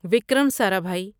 Vikram Sarabhai